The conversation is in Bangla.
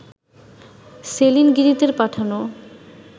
সেলিন গিরিতের পাঠানো